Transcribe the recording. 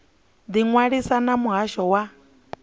ḓi ṅwalisa na muhasho wa